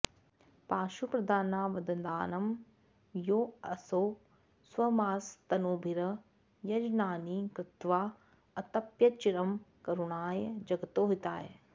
पांशुप्रदानावदानं यो असौ स्वमांसतनुभिर् यजनानि कृत्वा अतप्यच्चिरं करुणाय जगतो हिताय